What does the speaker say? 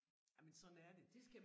Jamen sådan er det